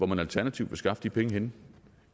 man alternativt vil skaffe de penge henne